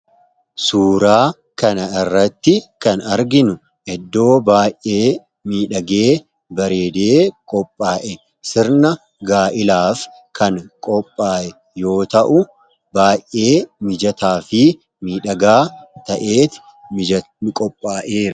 suuraa kan irratti kan arginu eddoo baay'ee miidhagee bareedee qophaa'e sirna gaa'ilaaf kan qophaae yoo ta'u baay'ee mijataa fi miidhagaa ta'ee qophaa'e